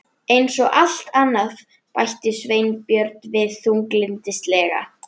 Eins og allt annað- bætti Sveinbjörn við þunglyndislega.